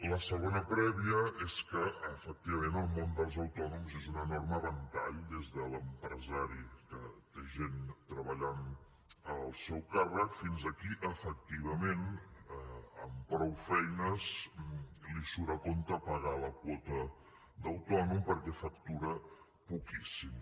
la segona prèvia és que efectivament el món dels autònoms és un enorme ventall des de l’empresari que té gent treballant al seu càrrec fins a qui efectivament amb prou feines li surt a compte pagar la quota d’autònom perquè factura poquíssim